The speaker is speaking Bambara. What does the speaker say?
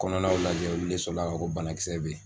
Kɔnɔnaw lajɛ olu le sɔrɔ la k'a fɔ ko banakisɛ bɛ yen.